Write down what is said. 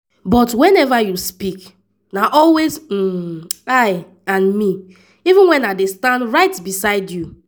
but whenever you speak na always um “i” and “me” even wen i dey stand right beside you.